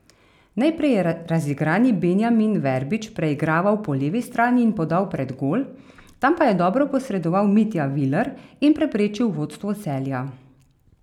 Najprej je razigrani Benjamin Verbič preigraval po levi strani in podal pred gol, tam pa je dobro posredoval Mitja Viler in preprečil vodstvo Celja.